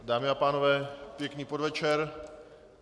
Dámy a pánové, pěkný podvečer.